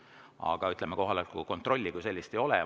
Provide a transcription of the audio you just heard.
Aga kohaloleku kontrolli kui sellist ei ole.